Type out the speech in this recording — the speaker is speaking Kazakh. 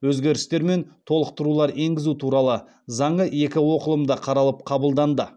өзгерістер мен толықтырулар енгізу туралы заңы екі оқылымда қаралып қабылданды